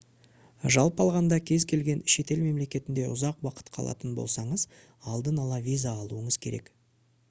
жалпы алғанда кез келген шетел мемлекетінде ұзақ уақыт қалатын болсаңыз алдын ала виза алуыңыз керек